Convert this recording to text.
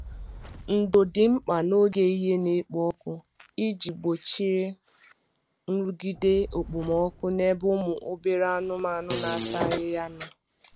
Ndo dị mkpa n'oge ehihie na-ekpo ọkụ iji gbochie nrụgide okpomọkụ n’ebe ụmụ obere anụmanu na-ata ahịhịa nọ